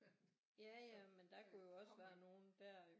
Ja ja men der kunne jo også være nogen der jo